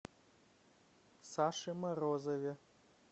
саше морозове